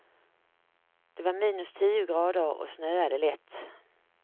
Det var minus tio grader och snöade lätt.